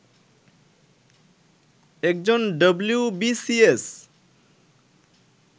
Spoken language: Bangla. একজন ডবলিউবিসিএস